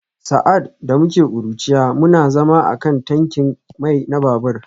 Sa’ad da muke ƙuruciya, muna zama a kan tankin mai na babur